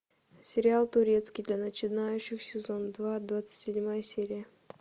сериал турецкий для начинающих сезон два двадцать седьмая серия